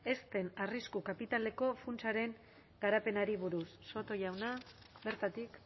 ezten arrisku kapitaleko funtsaren garapenari buruz soto jauna bertatik